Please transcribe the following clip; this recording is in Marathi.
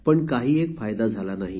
परंतु त्याचा काहीही फायदा झाला नाही